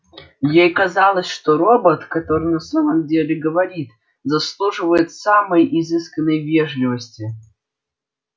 ей казалось что робот который на самом деле говорит заслуживает самой изысканной вежливости